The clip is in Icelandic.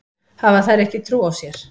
Hafa þær ekki trú á sér?